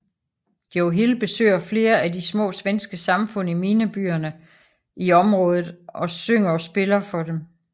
Joe Hill besøger flere af de små svenske samfund i minebyerne i området og synger og spiller for dem